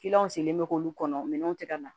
sen bɛ k'olu kɔnɔ minɛnw tɛ ka na